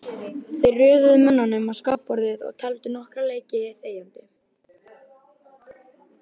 Þeir röðuðu mönnunum á skákborðið og tefldu nokkra leiki þegjandi.